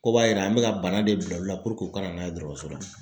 Ko b'a yira an bɛ ka bana de bila u la puruke u kana n'a ye dɔgɔtɔrɔso la!